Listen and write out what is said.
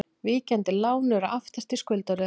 Víkjandi lán eru aftast í skuldaröðinni.